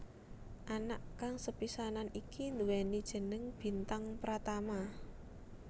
Anak kang sepisanan iki nduwéni jeneng Bintang Pratama